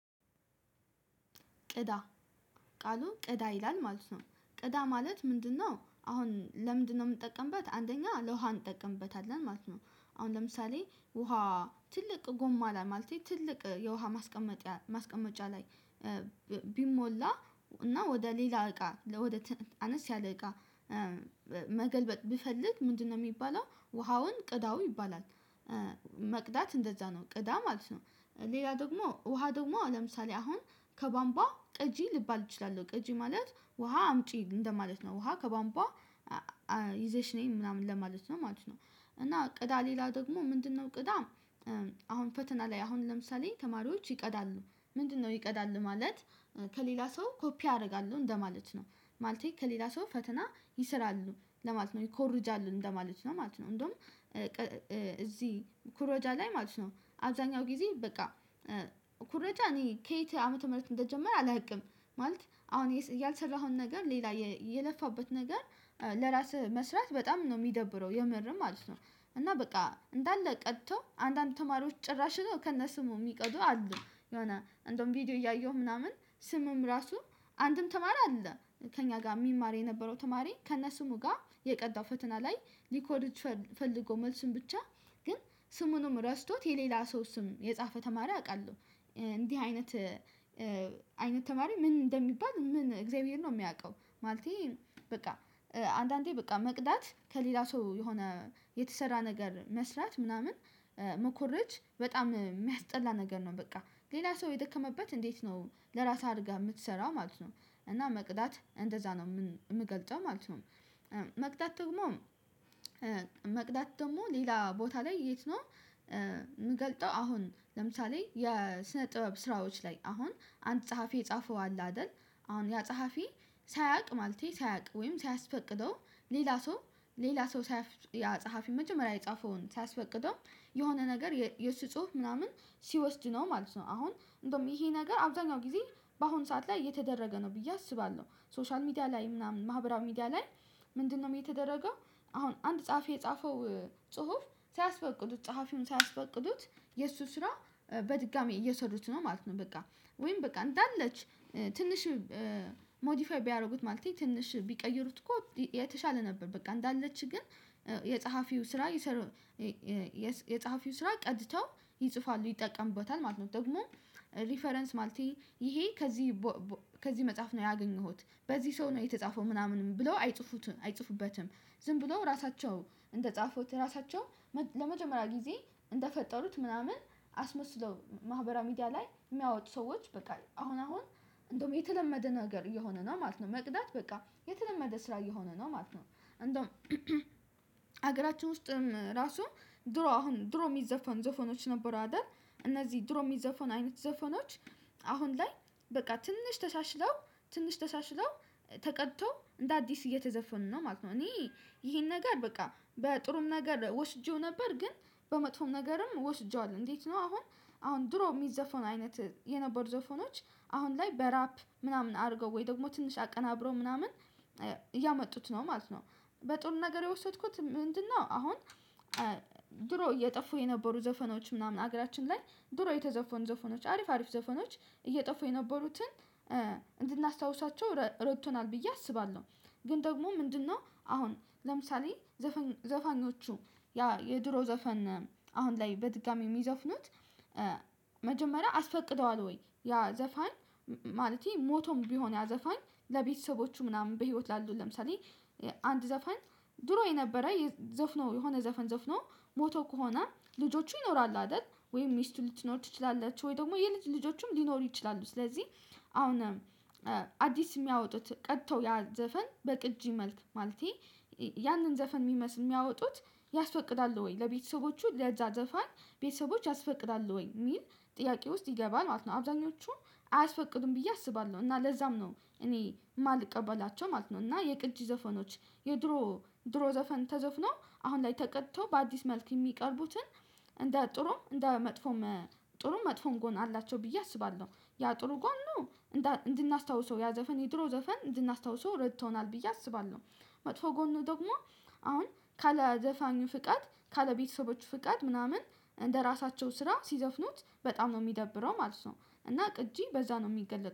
ቅዳ ቃሉ ቅዳ ይላል ማለት ነው። ቅዳ ማለት ምንድነው? አሁን ለምንድነው የምንጠቀምበት አንደኛ ለውሃ እንጠቀምበታለን ማለት ነው። አሁን ለምሳሌ ውሃ ትልቅ ጎማ ላይ ማለት ትልቅ የውሃ ማስቀመጫ ላይ ቢሞላ እና ወደ ሌላ እቃ ወደ አነስ ያለ እቃ መገልበጥ ብፈልግ ምንድነው የሚባለው ውሃውን ቅዳው ይባላል። መቅዳት እንደዛ ነው ቅዳ ማለት ነው። ሌላ ደግሞ ውሃ ደግሞ ለምሳሌ አሁን ከባምቧ ቀጂ ልባል እችላለሁ ቀጂ ማለት ውሃ አምጪ እንደማለት ነው ውሃ ከባንቧ ይዘሽ ነይ ምናምን ለማለት ነው ማለት ነው። እና ቅዳ ሌላ ደግሞ ምንድነው ቅዳም? አሁን ፈተና ላይ አሁን ለምሳሌ ተማሪዎች ይቀዳሉ። ምንድነው ይቀዳሉ ማለት ከሌላ ሰው ኮፒ አደርጋለሁ እንደማለት ነው። ማለቴት ነው ማለቴ ከሌላ ሰው ፈተና ይስራሉ ለማለት ነው ይኮርጃሉ እንደማለት ነው ማለት ነው። እንደውም እዚህ ኩሮጃ ላይ ማለት ነው። አብዛኛው ጊዜ በቃ ኩረጃ እኔ ከየት ዓመተ ምህረት እንደጀመረ አላውቅም። ማለት አሁን ያልሰራሀውን ነገር ሌላ የለፋበት ነገር ለራስህ መስራት በጣም ነው የሚደብረው የመረም ማለት ነው። እና በቃ እንዳለ ቀድቶ አንዳንድ ተማሪዎች ጭራሽ ከነስሙ የሚቀዱ አሉ የሆነ አን ደውም ቪዲዮ እያየሁ ምናምን ስምም ራሱ አንድም ተማሪ አለ። ከእኛ ጋር የሚማር የነበረው ተማሪ ከእነ ስሙ ጋር የቀዳው ፈተና ላይ ሊኮርጅ ፈልጎ መልሱን ብቻ ግን ስሙንም ረስቶት የሌላ ሰው ስም የጻፈ ተማሪ አውቃለሁ። እንዲህ አይነት አይነት ተማሪ ምን እንደሚባል ምን እግዚአብሔር ነው የሚያውቀው ማለቴ። በቃ አንዳንዴ በቃ መቅዳት ከሌላ ሰው የሆነ የተሰራ ነገር መስራት ምናምን መኮረጅ በጣም የሚያስጠላ ነገር ነው። በቃ ሌላ ሰው የደከመበት እንዴት ነው ለራስህ አድርገህ የምትሰራው ማለት ነው። እና መቅዳት እንደዛ ነው የምገልጸው ማለት ነው። መቅዳት ደግሞ መቅዳት ደግሞ ሌላ ቦታ ላይ የት ነው? የምገልጠው አሁን ለምሳሌ የስነ ጥበብ ስራዎች ላይ አሁን አንድ ጸሐፊ የጻፈው አለ አይደል። አሁን ያ ጸሐፊ ሳያውቅ ማለቴ ሳያውቅ ወይም ሳያስፈቅደው ሌላ ሰው ሌላ ሰው ያፀሀፊ መጀመሪያ የጻፈውን ሳያስፈቅደው የሆነ ነገር የሱ ጽሁፍ ምናምን ሲወስድ ነው ማለት ነው። አሁን እንደውም ይሄ ነገር አብዛኛው ጊዜ በአሁን ሰዓት ላይ የተደረገ ነው ብዬ አስባለሁ። ሶሻል ሚዲያ ላይ ምናምን ማህበራዊ ሚዲያ ላይ ምንድነው የተደረገው? አሁን አንድ ጸሐፊ የጻፈው ጽሁፍ ሳያስፈቅዱት ጸሐፊውን ሳያስፈቅዱት የእሱ ስራ በድጋሚ እየወሰዱት ነው ማለት ነው። በቃ ወይም በቃ እንዳለች ትንሽ ሞዲፋይ ቢያደርጉት ማለት ነው። ትንሽ ቢቀይሩት እኮ የተሻለ ነበር በቃ እንዳለች ግን የጸሐፊው ስራ ይሰራል። የጸሐፊው ስራ ቀድተው ይጽፋሉ ይጠቀሙበታል ማለት ነው። ደግሞ ሪፈረንስ ማለት ይሄ ከዚህ ከዚህ መጽሐፍ ነው ያገኘሁት። በዚህ ሰው የተጻፈው ምናምን ብለው አይጽፉትም አይጽፉበትም። ዝም ብለው ራሳቸው ተ እንደ ጻፉት ራሳቸውን ለመጀመሪያ ጊዜ እንደፈጠሩት ምናምን አስመስለው ማህበራዊ ሚዲያ ላይ የሚያወጡ ሰዎች በቃ አሁን አሁን እንደውም የተለመደ ነገር እየሆነ ነው ማለት ነው። መቅዳት በቃ የተለመደ ስራ እየሆነ ነው ማለት ነው። እንደውም ሀገራችን ውስጥም ራሱ ድሮ አሁን ድሮ የሚዘፈን ዘፈኖች ነበሩ አይደል። እነዚህ ድሮሚ ዘፈን አይነት ዘፈኖች አሁን ላይ በቃ ትንሽ ተሻሽለው ትንሽ ተሻሽለው ተቀድቶ እንደ አዲስ እየተዘፈኑ ነው ማለት ነው። እኔ ይሄን ነገር በቃ በጥሩም ነገር ወስጄው ነበር። ግን በመጥፎም ነገርም ወስጄዋለሁ። እንዴት ነው አሁን አሁን ድሮ የሚዘፈውን አይነት የነበሩ ዘፈኖች አሁን ላይ በራፕ ምናምን አድርገው ወይ ደግሞ ትንሽ አቀናብረው ምናምን እያመጡት ነው ማለት ነው። በጥሩ ነገር የወሰድኩት ምንድነው? አሁን ድሮ እየጠፉ የነበሩ ዘፈኖች ምናምን ሀገራችን ላይ ድሮ የተዘፈኑ ዘፈኖች አሪፍ አሪፍ ዘፈኖች እየጠፉ የነበሩትን እንድናስታውሳቸው ረድቶናል ብዬ አስባለሁ። ግን ደግሞ ምንድነው አሁን ለምሳሌ ዘፈኞቹ ያ የድሮ ዘፈን አሁን ላይ በድጋሚ የሚዘፍኑት መጀመሪያ አስፈቅደዋል ወይ ያ ዘፋኝ? ማለቴ ሞቶም ቢሆን ያዘፋኝ ለቤተሰቦቹ ምናምን በህይወት ላሉ ለምሳሌ አንድ ዘፋኝ ድሮ የነበረ ዘፍ ነው የሆነ ዘፈን ዘፍኖ ሞቶ ከሆነ ልጆቹ ይኖራሉ አይደል ወይም ሚስቱ ልትኖር ትችላላችሁ ወይ ደግሞ የልጅ ልጆቹም ሊኖሩ ይችላሉ ስለዚህ። አሁንም አዲስ የሚያወጡት ቀድተው ያ ዘፈን በቅጂ መልክ ማለቴ ያንን ዘፈን የሚመስል የሚያወጡት ያስፈቅዳሉ ወይ ለቤተሰቦቹ ለዛ ዘፋን ቤተሰቦች ያስፈቅዳሉ ወይ የሚል ጥያቄ ውስጥ ይገባል ማለት ነው። አብዛኞቹ አያስፈቅዱም ብዬ አስባለሁ እና ለዛም ነው እኔ የማልቀበላቸው ማለት ነው። እና የቅጅ ዘፈኖች የድሮ ድሮ ዘፈን ተዘፍኖ አሁን ላይ ተቀደቶ በአዲስ መልክ የሚቀርቡትን እንደ ጥሩ እንደ መጥፎ ጥሩ መጥፎን ጎን አላቸው ብዬ አስባለሁ። ያ ጥሩ ጎኑ እንድናስታውሰው ያ ዘፈን የድሮ ዘፈን እንድናስታውሰው ረድቶናል ብዬ አስባለሁ። መጥፎ ጎኑ ደግሞ አሁን ካዘፋኙ ፍቃድ ካለ ቤተሰቦቹ ፍቃድ ምናምን እንደራሳቸው ስራ ሲዘፍኑት በጣም ነው የሚደብረው ማለት ነው። እና ቅጂ በዛ ነው የሚገለጠው